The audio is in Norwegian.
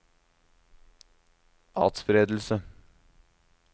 atspredelse